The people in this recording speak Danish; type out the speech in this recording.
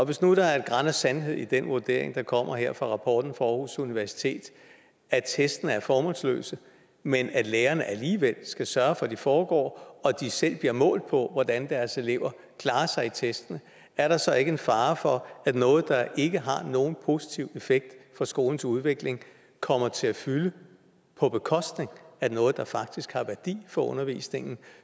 hvis nu der er et gran af sandhed i den vurdering der kommer her i rapporten fra aarhus universitet at testene er formålsløse men at lærerne alligevel skal sørge for at de foregår og at de selv bliver målt på hvordan deres elever klarer sig i testen er der så ikke en fare for at noget der ikke har nogen positiv effekt for skolens udvikling kommer til at fylde på bekostning af noget der faktisk har værdi for undervisningen